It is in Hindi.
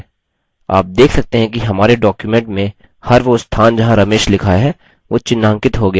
आप देख सकते हैं कि हमारे document में हर वो स्थान जहाँ ramesh लिखा है वो चिन्हांकित हो गया है